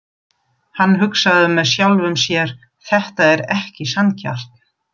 Hann hugsaði með sjálfum sér: Þetta er ekki sanngjarnt.